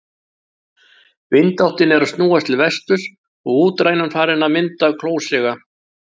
Vindáttin er að snúast til vesturs og útrænan farin að mynda klósiga.